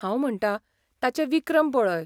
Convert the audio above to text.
हांव म्हणटां, ताचे विक्रम पळय.